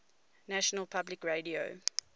national public radio